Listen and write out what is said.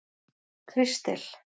Kristel